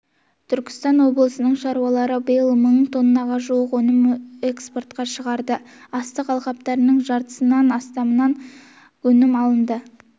түркістан облысының шаруалары биыл мың тоннаға жуық өнімді экспортқа шығарды астық алқаптарының жартысынан астамынан өнім алынды